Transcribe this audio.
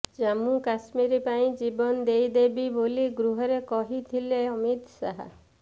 ଜାମ୍ମୁ କାଶ୍ମୀର ପାଇଁ ଜୀବନ ଦେଇଦେବି ବୋଲି ଗୃହରେ କହିଥିଲେ ଅମିତ ଶାହା